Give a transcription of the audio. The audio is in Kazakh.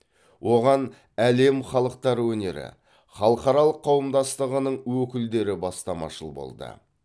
оған әлем халықтары өнері халықаралық қауымдастығының өкілдері бастамашыл болды